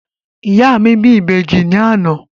Ìyá mi bí Ìbejì ní àná.